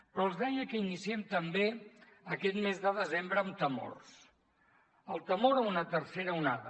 però els deia que iniciem també aquest mes de desembre amb temors el temor a una tercera onada